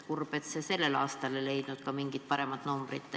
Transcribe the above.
Kurb, et ka sellel aastal ei leitud mingit paremat numbrit.